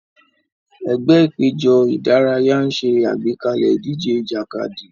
Ẹgbẹ́ ìpéjọ ìdárayá ń ṣe àgbékalẹ̀ ìdíje ìjàkadì.